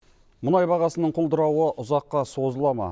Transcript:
мұнай бағасының құлдырауы ұзаққа созыла ма